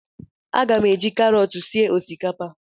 A ga m eji karọt sie osikapa